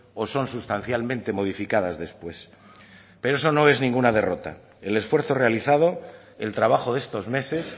o son sustancialmente modificadas después pero eso no es ninguna derrota el esfuerzo realizado el trabajo de estos meses